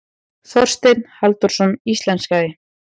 Þorsteinn Halldórsson íslenskaði.